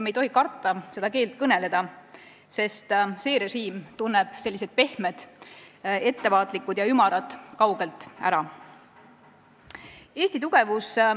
Me ei tohi karta seda keelt kõnelda, sest see režiim tunneb pehmed, ettevaatlikud ja ümarad kaugelt ära.